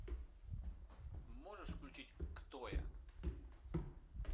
можешь включить кто я